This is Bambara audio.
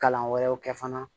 Kalan wɛrɛw kɛ fana